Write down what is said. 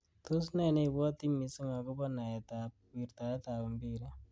Tos ne neibwoti missing akobo naet ab wirtaet ab mpiret.